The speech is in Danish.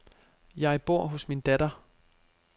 Jeg bor hos min datter.